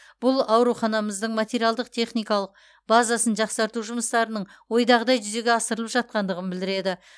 бұл ауруханамыздың материалдық техникалық базасын жақсарту жұмыстарының ойдағыдай жүзеге асырылып жатқандығын білдіреді